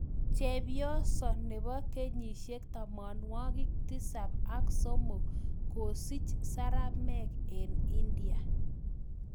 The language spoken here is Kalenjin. Chepyosoo nepoo kenyisiek tamanmwagik tisap ak somok kosiich seramek eng india